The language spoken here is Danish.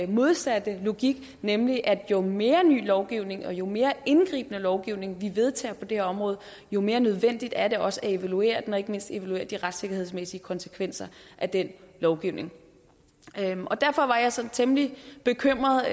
modsatte logik nemlig at jo mere ny lovgivning og jo mere indgribende lovgivning vi vedtager på det her område jo mere nødvendigt er det også at evaluere den og ikke mindst evaluere de retssikkerhedsmæssige konsekvenser af den lovgivning derfor var jeg sådan temmelig bekymret